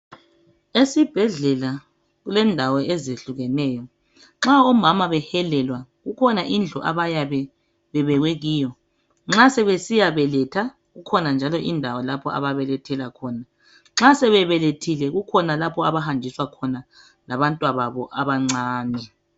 Esibhedlela kulendawo ezehlukeneyo nxa omama behelelwa kukhona indlu abayabe bebekwe kiyo nxa sebesiya beletha kukhona njalo indawo lapho ababelethela khona nxa sebebelethile kukhona lapho abahanjiswa khona labantwababo abancane.